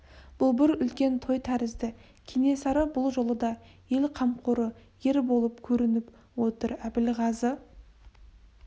бұл бір үлкен той тәрізді кенесары бұл жолы да ел қамқоры ер болып көрініп отыр әбілғазы